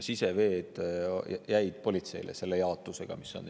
Siseveed jäid politseile, selle jaotusega, mis on.